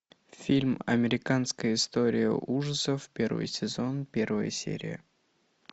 фильм американская история ужасов первый сезон первая серия